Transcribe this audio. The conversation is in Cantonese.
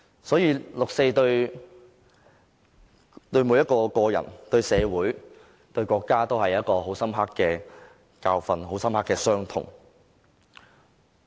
所以，六四對每一個人、對社會、對國家，都是很深刻的教訓和傷痛。